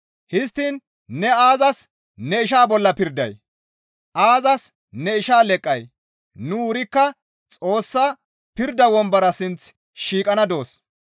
Histtiin ne aazas ne ishaa bolla pirday? Aazas ne ishaa leqqay? Nu wurikka Xoossa pirda wombora sinth shiiqana doos.